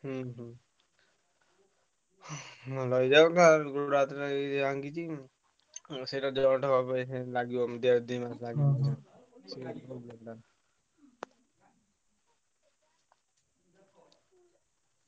ହୁଁ ହୁଁ। ଭଲ ହେଇଯାଉ ଗୋଡ ହାତ ଭାଙ୍ଗିଛି। ଆଉ ସେଇଟା ଦେହଟା ଲାଗିବ ଦେହ